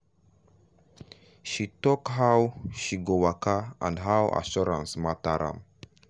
she talk how she go waka and how assurance matter am.